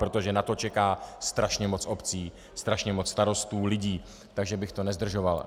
Protože na to čeká strašně moc obcí, strašně moc starostů, lidí, takže bych to nezdržoval.